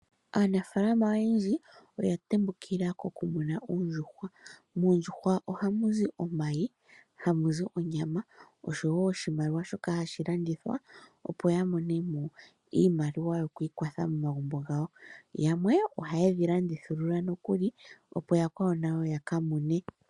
Aanafaalama oyendji oya tembukila kokumuna oondjuhwa. Moondjuhwa ohamu zi omayi, hamuzi onyama osho wo oshimaliwa shoka hashi landithwa opo yamonemo iimaliwa yokwiikwatha momagumbo gawo. Yamwe ohaye dhilandithulula nokuli opo yakwawo nayo yakamune.